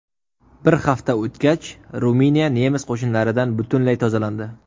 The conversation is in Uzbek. Bir hafta o‘tgach, Ruminiya nemis qo‘shinlaridan butunlay tozalandi.